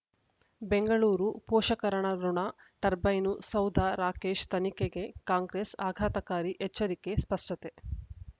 ಬೆಂಗಳೂರು ಪೋಷಕರಋಣ ಟರ್ಬೈನು ಸೌಧ ರಾಕೇಶ್ ತನಿಖೆಗೆ ಕಾಂಗ್ರೆಸ್ ಆಘಾತಕಾರಿ ಎಚ್ಚರಿಕೆ ಸ್ಪಶತೆ